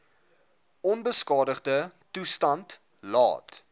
onbeskadigde toestand laat